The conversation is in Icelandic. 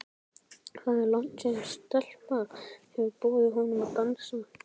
Það er langt síðan stelpa hefur boðið honum að dansa.